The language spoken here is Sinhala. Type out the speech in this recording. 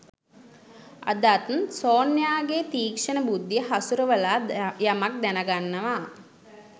අදත් සොන්යාගේ තික්ෂණ බුද්ධිය හසුරවලා යමක් දැනගන්නවා